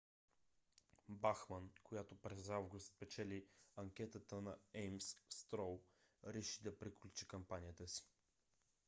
бахман която през август спечели анкетата на еймс строу реши да приключи кампанията си